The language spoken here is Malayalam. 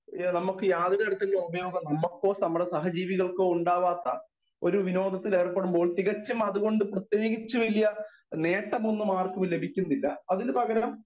സ്പീക്കർ 1 നമുക്ക് യാതൊരു തരത്തിലും ഉപദ്രവം നമ്മുക്കോ നമ്മുടെ സഹജീവികൾക്കോ ഉണ്ടാവാത്ത ഒരു വിനോദത്തിൽ ഏർപ്പെടുമ്പോൾ തികച്ചും അതുകൊണ്ട് പ്രത്യേകിച്ചും വല്യ നേട്ടമൊന്നും ആർക്കും ലഭിക്കുന്നില്ല അതിനു പകരം